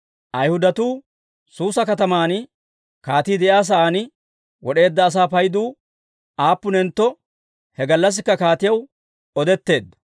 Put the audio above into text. Ayhudatuu Suusa kataman kaatii de'iyaa sa'aan wod'eedda asaa paydu aappunentto he gallassikka kaatiyaw odetteedda.